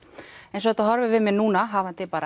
eins og þetta horfir við mér núna hafandi